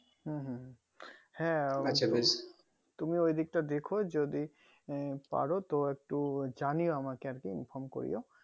হুম হুম হ্যাঁ তুমি ওই দিকটা দেখো যদি পারো তো একটু জানিও আমাকে inform করিও